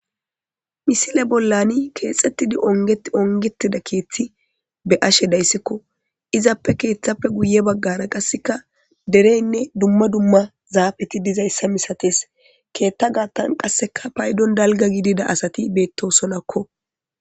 Misile bolan keexetidi ongetida keethi be'ashe de'aysiko izape keethape guye bagara kaseka derene duma duma zaafeti dizaysaka misates keetha gaathan kaseka paydon dalga gidida asati beetosonako.